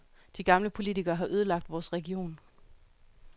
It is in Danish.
De gamle politikere har ødelagt vores region.